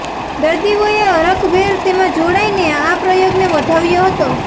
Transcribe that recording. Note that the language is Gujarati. દર્દીઓ એ હરખભેર તેમાં જોડાઈ ને આ પ્રયોગને વધાવ્યો હતો